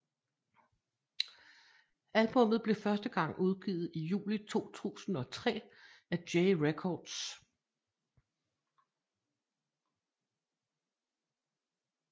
Albummet blev første gang udgivet i juli 2003 af J Records